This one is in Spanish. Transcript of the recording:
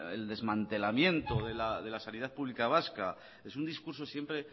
el desmantelamiento de la sanidad pública vasca es un discurso siempre